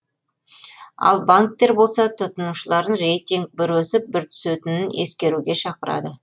ал банктер болса тұтынушыларын рейтинг бір өсіп бір түсетінін ескеруге шақырады